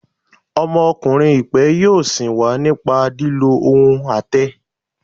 Ọmọkunrin ipe yọọ sin wa nípa lilo ohún atẹ.